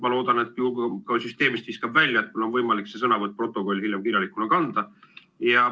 Ma loodan, et kui mind süsteemist viskab välja, siis on mul võimalik see sõnavõtt protokolli hiljem kirjalikuna kanda.